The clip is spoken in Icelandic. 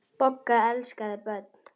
Bogga elskaði börn.